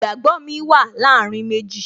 Ìgbàgbó mi wà láàárín méjì